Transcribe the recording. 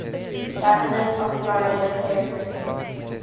governors of florida territory